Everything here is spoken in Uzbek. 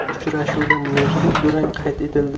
Uchrashuvda nursiz durang qayd etildi.